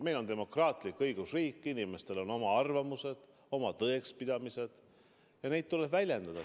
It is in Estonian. Meil on demokraatlik õigusriik, inimestel on oma arvamused, oma tõekspidamised, ja neid tuleb väljendada.